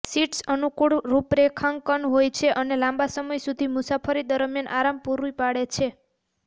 seats અનુકૂળ રૂપરેખાંકન હોય છે અને લાંબા સમય સુધી મુસાફરી દરમિયાન આરામ પૂરી પાડે છે